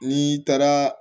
N'i taara